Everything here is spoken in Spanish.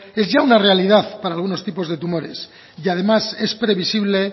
es ya una realidad para algunos tipos de tumores y además es previsible